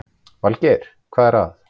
Valgeir: Hvað er það?